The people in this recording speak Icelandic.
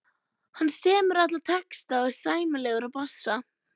Hann semur alla texta og er sæmilegur á bassa.